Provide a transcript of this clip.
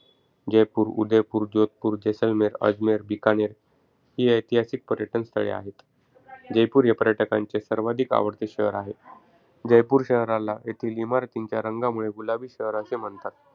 जयपूर, उदयपूर, जोधपूर, जेसलमेर, अजमेर, बिकानेर ही ऐतिहासिक पर्यटन स्थळे आहे. जयपूर हे पर्यटकांचे सर्वाधिक आवडते शहर आहे. जयपूर शहराला येथील इमारतींच्या रंगांमुळे गुलाबी शहर असे म्हणतात.